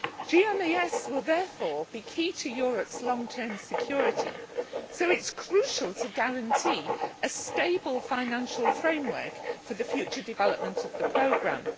GMES will therefore be key to Europe's long term security, so it is crucial to guarantee a stable financial framework for the future development of the programme.